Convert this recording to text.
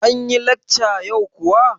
Anyi lekcan yau kuwa?